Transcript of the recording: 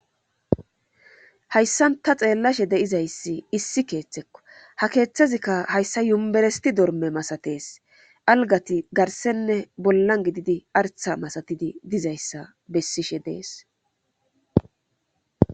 hayssan ta xeellashe deizayssi issi keeththekko ha keeththezikka hayssa yumberesti dorme masatees algati garsenne bollan gididi artha masatidi dizayssa bessishe dees